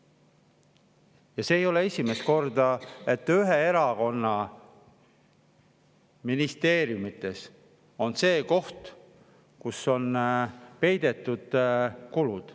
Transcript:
Ja see ei ole esimest korda, et ühe erakonna ministeeriumides on see koht, kus on peidetud kulud.